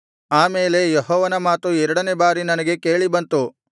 ಆ ಮೇಲೆ ಯೆಹೋವನ ಮಾತು ಎರಡನೆಯ ಬಾರಿ ನನಗೆ ಕೇಳಿ ಬಂತು